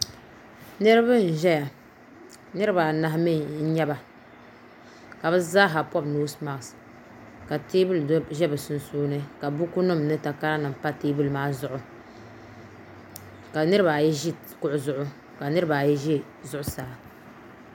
Niraba.n ʒɛya niraba anahi mee n nyɛba ka bi zaaha pobi noos mask ka teebuli ʒɛ bi sunsuuni ka bukunima ni takara nima pa teebuli maa zuɣu ka nirabaayi ʒi kuɣu zuɣu ka nirabaayi ʒɛ zuɣusaa